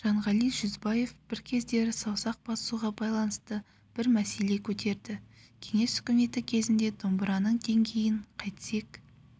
жанғали жүзбаев бір кездері саусақ басуға байланысты бір мәселе көтерді кеңес үкіметі кезінде домбыраның деңгейін қайтсек